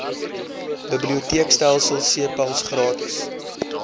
biblioteekstelsel cpals gratis